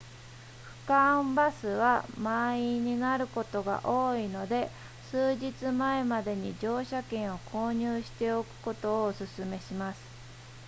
区間バスは満員になることが多いので数日前までに乗車券を購入しておくことをお勧めします